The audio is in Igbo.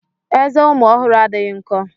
Ezé ụmụ ọhụrụ adịghị nkọ.